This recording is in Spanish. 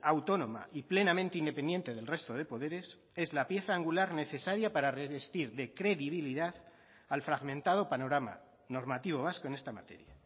autónoma y plenamente independiente del resto de poderes es la pieza angular necesaria para revestir de credibilidad al fragmentado panorama normativo vasco en esta materia